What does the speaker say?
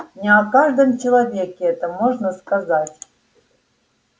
не о каждом человеке это можно сказать